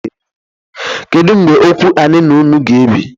Kedu mgbe okwu anị unu a g'ebi?